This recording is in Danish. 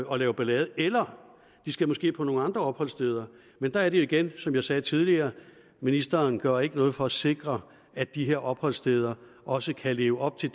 og lave ballade eller de skal måske på nogle andre opholdssteder men der er det jo igen som jeg sagde tidligere ministeren gør ikke noget for at sikre at de her opholdssteder også kan leve op til